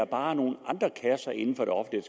bare er nogle andre kasser inden for det offentlige